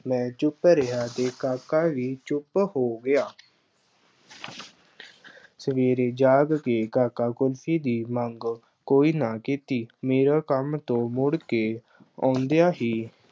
ਮੈਂ ਚੁੱਪ ਰਿਹਾ ਅਤੇ ਕਾਕਾ ਵੀ ਚੁੱਪ ਹੋ ਗਿਆ। ਸਵੇਰੇ ਜਾਗ ਕੇ ਕਾਕਾ ਕੁਲਫੀ ਦੀ ਮੰਗ ਕੋਈ ਨਾ ਕੀਤੀ। ਮੇਰਾ ਕੰਮ ਤੋਂ ਮੁੜਕੇ ਆਉਂਦਿਆਂ ਹੀ